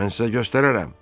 Mən sizə göstərərəm.